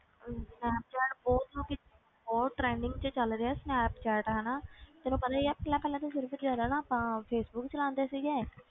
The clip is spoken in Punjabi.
ਹਮ ਸਨੈਪਚੈਟ ਬਹੁਤ ਲੋਕੀ ਬਹੁਤ trending ਵਿੱਚ ਚੱਲ ਰਿਹਾ ਸਨੈਪਚੈਟ ਹਨਾ ਤੈਨੂੰ ਪਤਾ ਹੀ ਆ ਪਹਿਲਾਂ ਪਹਿਲਾਂ ਤੇ ਸਿਰਫ਼ ਜ਼ਿਆਦਾ ਨਾ ਆਪਾਂ ਫੇਸਬੁੱਕ ਚਲਾਉਂਦੇ ਸੀਗੇ,